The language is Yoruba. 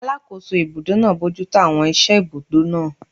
Alàkóso ibùdó náà bojútó àwọn iṣẹ́ ibùdó náà